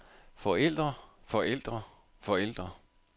forældre forældre forældre